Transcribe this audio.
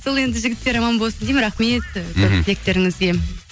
сол енді жігіттер аман болсын деймін рахмет мхм тілектеріңізге